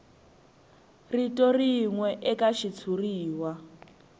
rito rin we eka xitshuriwa